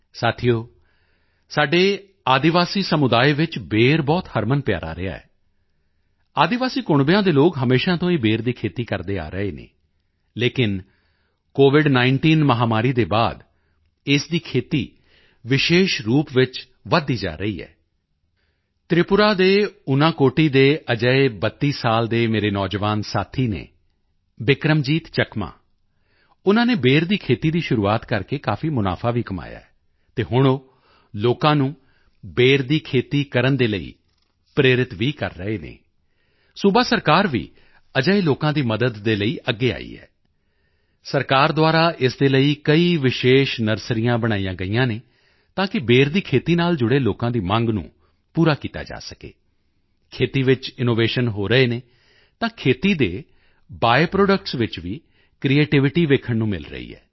ਸਾਥੀਓ ਸਾਡੇ ਆਦਿਵਾਸੀ ਸਮੁਦਾਇ ਵਿੱਚ ਬੇਰ ਬਹੁਤ ਹਰਮਨਪਿਆਰਾ ਰਿਹਾ ਹੈ ਆਦਿਵਾਸੀ ਸਮੁਦਾਇਆਂ ਦੇ ਲੋਕ ਹਮੇਸ਼ਾ ਤੋਂ ਹੀ ਬੇਰ ਦੀ ਖੇਤੀ ਕਰਦੇ ਆ ਰਹੇ ਹਨ ਲੇਕਿਨ COVID19 ਮਹਾਮਾਰੀ ਦੇ ਬਾਅਦ ਇਸ ਦੀ ਖੇਤੀ ਵਿਸ਼ੇਸ਼ ਰੂਪ ਚ ਵਧਦੀ ਜਾ ਰਹੀ ਹੈ ਤ੍ਰਿਪੁਰਾ ਦੇ ਉਨਾਕੋਟੀ ਉਨਾਕੋਟੀ ਦੇ ਅਜਿਹੇ 32 ਸਾਲ ਦੇ ਮੇਰੇ ਨੌਜਵਾਨ ਸਾਥੀ ਹਨ ਬਿਕਰਮਜੀਤ ਚੱਕਮਾ ਉਨ੍ਹਾਂ ਨੇ ਬੇਰ ਦੀ ਖੇਤੀ ਦੀ ਸ਼ੁਰੂਆਤ ਕਰਕੇ ਕਾਫੀ ਮੁਨਾਫਾ ਵੀ ਕਮਾਇਆ ਹੈ ਅਤੇ ਹੁਣ ਉਹ ਲੋਕਾਂ ਨੂੰ ਬੇਰ ਦੀ ਖੇਤੀ ਕਰਨ ਦੇ ਲਈ ਪ੍ਰੇਰਿਤ ਵੀ ਕਰ ਰਹੇ ਹਨ ਸੂਬਾ ਸਰਕਾਰ ਵੀ ਅਜਿਹੇ ਲੋਕਾਂ ਦੀ ਮਦਦ ਦੇ ਲਈ ਅੱਗੇ ਆਈ ਹੈ ਸਰਕਾਰ ਦੁਆਰਾ ਇਸ ਦੇ ਲਈ ਕਈ ਵਿਸ਼ੇਸ਼ ਨਰਸਰੀਆਂ ਬਣਾਈਆਂ ਗਈਆਂ ਹਨ ਤਾਂ ਕਿ ਬੇਰ ਦੀ ਖੇਤੀ ਨਾਲ ਜੁੜੇ ਲੋਕਾਂ ਦੀ ਮੰਗ ਪੂਰੀ ਕੀਤੀ ਜਾ ਸਕੇ ਖੇਤੀ ਵਿੱਚ ਇਨੋਵੇਸ਼ਨ ਹੋ ਰਹੇ ਹਨ ਤਾਂ ਖੇਤੀ ਦੇ ਬਾਈ ਪ੍ਰੋਡਕਟਸ ਵਿੱਚ ਵੀ ਕ੍ਰਿਏਟੀਵਿਟੀ ਦੇਖਣ ਨੂੰ ਮਿਲ ਰਹੀ ਹੈ